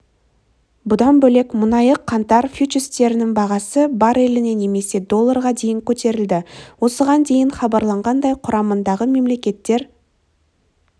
бұдан бөлек мұнайы қаңтар фьючерстерінің бағасы барреліне немесе долларға дейін көтерілді осыған дейін хабарланғандай құрамындағы мемлекеттер